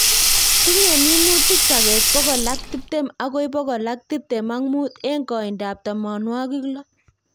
Tinye minutik sogek pokolak tiptem agoi pokol ak tiptem ak mut eng koindo ap tamanwogik loo